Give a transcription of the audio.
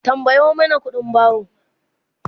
tambayo Mani ƙuɗin baro!